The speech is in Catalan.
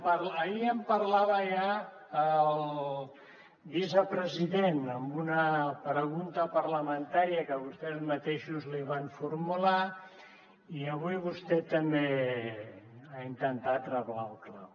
ahir en parlava ja el vicepresident en una pregunta parlamentària que vostès mateixos li van formular i avui vostè també ha intentat reblar el clau